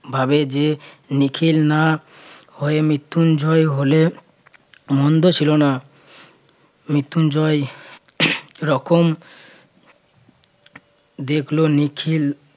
ভাবে যে নিখিল না হয়ে মৃত্যুঞ্জয় হলে মন্দ ছিল না মৃত্যুঞ্জয় রকম দেখল নিখিল